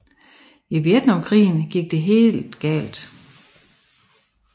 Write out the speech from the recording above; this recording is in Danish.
I Vietnamkrigen gik det helt galt